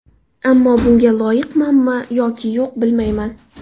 Ammo bunga loyiqmanmi yoki yo‘q, bilmayman.